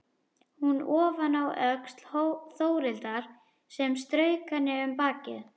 Hún ofaná öxl Þórhildar sem strauk henni um bakið.